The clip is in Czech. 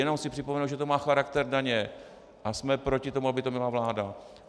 Jenom chci připomenout, že to má charakter daně a jsme proti tomu, aby to měla vláda.